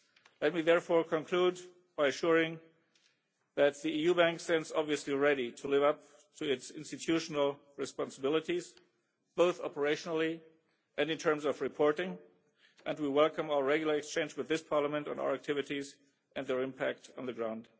Let me therefore conclude by assuring you that the EIB stands ready to live up to its institutional responsibilities, both operationally and in terms of reporting, and we welcome our regular exchange with this Parliament on our activities and their impact on the ground.